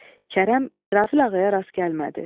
Kərəm İsrafil ağaya rast gəlmədi.